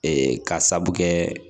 ka sabu kɛ